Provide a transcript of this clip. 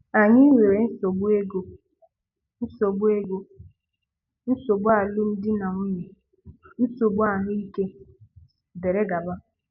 Ànyị nwere nsogbu ego, nsogbu ego, nsogbu alụmdi na nwunye, nsogbu ahụ́ ike, dìrì gabà.